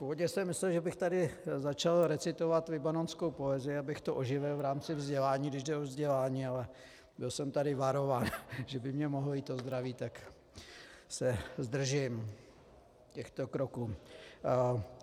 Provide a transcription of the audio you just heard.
Původně jsem myslel, že bych tady začal recitovat libanonskou poezii, abych to oživil v rámci vzdělání, když jde o vzdělání, ale byl jsem tady varován, že by mi mohlo jít o zdraví, tak se zdržím těchto kroků.